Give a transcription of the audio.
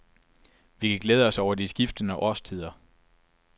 Vi kan glæde os over de skiftende årstider.